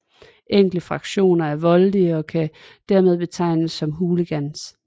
Enkelte fraktioner er voldelige og kan dermed betegnes som hooligans